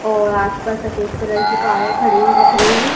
और आस पास सफेद कलर कारें खड़ी हुई दिख रही है।